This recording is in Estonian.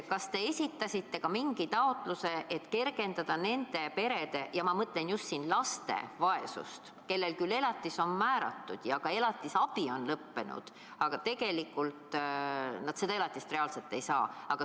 Kas te esitasite mingisuguse taotluse, et kergendada nende perede – ma mõtlen siin just nende laste – vaesust, kellele elatis on määratud ja elatisabi maksmine lõppenud, aga kes tegelikult seda elatist reaalselt ei saa?